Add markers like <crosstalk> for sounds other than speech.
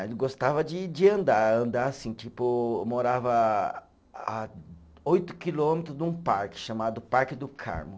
<unintelligible> gostava de de andar, andar assim, tipo, morava a oito quilômetros de um parque chamado Parque do Carmo.